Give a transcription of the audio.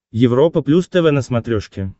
европа плюс тв на смотрешке